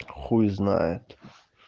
хуй знает